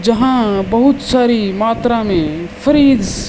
जहां बहुत सारी मात्रा मे फ्रिज --